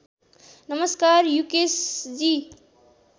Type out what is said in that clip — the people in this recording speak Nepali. नमस्कार युकेशजी